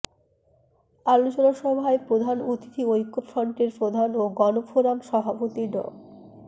আলোচনা সভায় প্রধান অতিথি ঐক্যফ্রন্টের প্রধান ও গণফোরাম সভাপতি ড